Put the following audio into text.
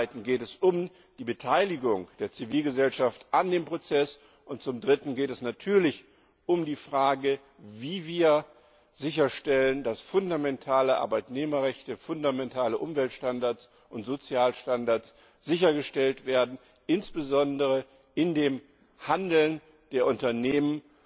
Zum Zweiten geht es um die Beteiligung der Zivilgesellschaft an dem Prozess, und zum Dritten geht es natürlich um die Frage, wie wir sicherstellen, dass fundamentale Arbeitnehmerrechte, fundamentale Umweltstandards und Sozialstandards sichergestellt werden, insbesondere in dem Handeln der Unternehmen